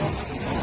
Pasop.